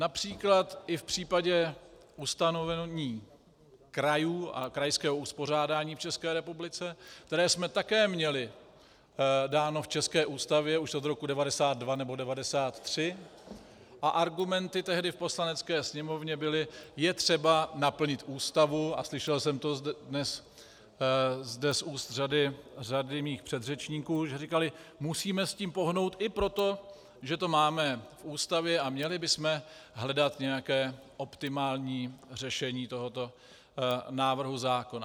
Například i v případě ustanovení krajů a krajského uspořádání v České republice, které jsme také měli dáno v české Ústavě už od roku 1992 nebo 1993, a argumenty tehdy v Poslanecké sněmovně byly "je třeba naplnit Ústavu" a slyšel jsem to dnes zde z úst řady mých předřečníků, že říkali, musíme s tím pohnout i proto, že to máme v Ústavě, a měli bychom hledat nějaké optimální řešení tohoto návrhu zákona.